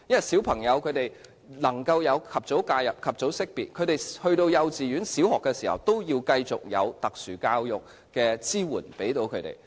小朋友若能及早獲得介入和識別，入讀幼稚園或小學時都繼續需要特殊教育的支援。